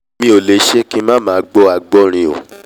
èmi ò lè ṣe kí ng má máa gbọ́ àgbọ́rìn o